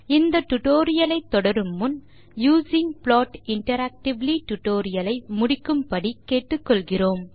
இந்த டியூட்டோரியல் ஐ தொடரும் முன் யூசிங் ப்ளாட் இன்டராக்டிவ்லி டியூட்டோரியல் ஐ முடிக்கும்படி கேட்டுக்கொள்கிறோம்